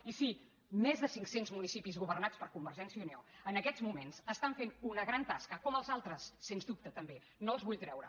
i sí més de cinc cents municipis governats per convergència i unió en aquests moments estan fent una gran tasca com els altres sens dubte també no els vull treure